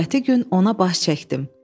Növbəti gün ona baş çəkdim.